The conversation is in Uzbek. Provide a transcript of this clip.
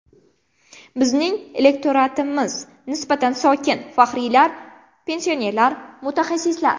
Bizning elektoratimiz nisbatan sokin: faxriylar, pensionerlar, mutaxassislar.